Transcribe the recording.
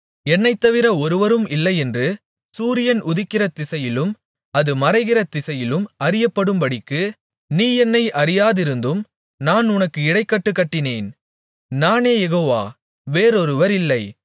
என்னைத்தவிர ஒருவரும் இல்லையென்று சூரியன் உதிக்கிற திசையிலும் அது மறைகிறகிற திசையிலும் அறியப்படும்படிக்கு நீ என்னை அறியாதிருந்தும் நான் உனக்கு இடைக்கட்டு கட்டினேன் நானே யெகோவா வேறொருவர் இல்லை